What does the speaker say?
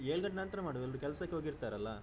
ಏಳ್ ಗಂಟೆ ನಂತ್ರ ಮಾಡುವ ಎಲ್ರು ಕೆಲಸಕ್ಕೆ ಹೋಗಿ ಇರ್ತಾರಲ್ಲಾ.